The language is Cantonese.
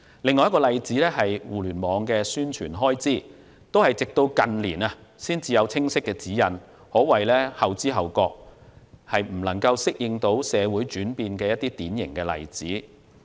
另一個例子是互聯網的宣傳開支，當局直至近年才有清晰指引，可謂後知後覺，未能適應社會轉變的典型例子。